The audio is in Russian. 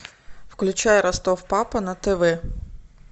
включай ростов папа на тв